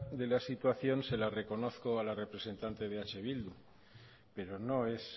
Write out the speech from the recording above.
de la situación se la reconozco a la representante de eh bildu pero no es